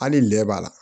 Hali lɛ b'a la